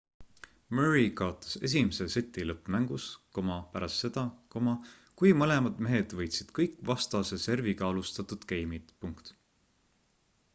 murray kaotas esimese seti lõppmängus pärast seda kui mõlemad mehed võitsid kõik vastase serviga alustatud geimid